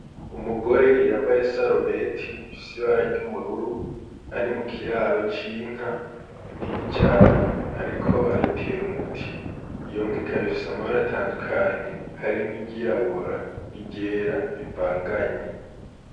Umugore yambaye isarubeti ifise ibara ry'ubururu ari mukiraro c'inka kinini cane ariko arayitera umuti iyo nka ikaba ifise amabara atandukanye harimwo iryirabura n' iryera rivanganye.